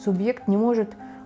субъект не может